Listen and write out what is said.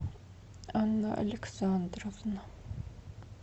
анна александровна